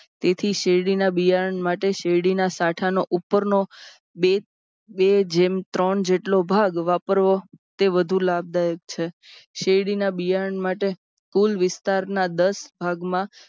તેથી શેરડીના બિયારણ માટે શેરડીના સાંઠા નો ઉપરનો બે જેમ ત્રણ જેટલો ભાગ વાપરવો તે વધુ લાભદાયક છે. શેરડીના બિયારણ માટે કુલ વિસ્તારના દસ ભાગમાં